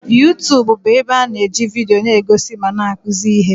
Yuutubu bụ ebe a na-eji vidio na-egosi ma na-akụzi ihe.